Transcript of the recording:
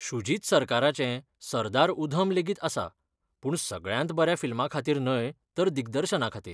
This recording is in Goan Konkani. शुजित सरकाराचें सरदार उधम लेगीत आसा, पूण सगळ्यांत बऱ्या फिल्माखातीर न्हय तर दिग्दर्शनाखातीर.